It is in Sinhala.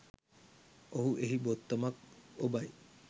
ඔහු එහි බොත්තමක් ඔබයි